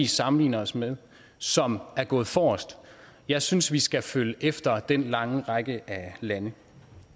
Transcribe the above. sammenligner os med som er gået forrest jeg synes vi skal følge efter den lange række af lande